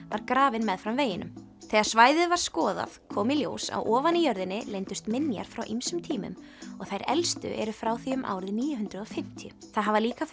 var grafinn meðfram veginum þegar svæðið var skoðað kom í ljós að ofan í jörðinni leyndust minjar frá ýmsum tímum og þær elstu eru frá því um árið níu hundruð og fimmtíu það hafa líka